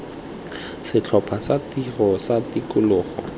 setlhopha sa tiro sa tikologo